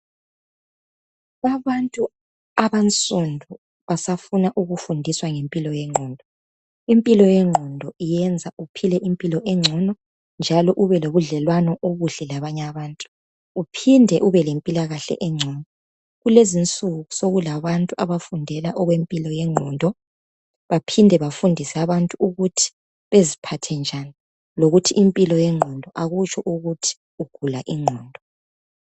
Abantu abansundu basafuna ukufundiswa ngempilo yengqondo . Impilo yengqondo yenza ubelemplo sengcono njalo ube lobudlelwano obuhle labanye abantu .Uphinde ubelempilakahle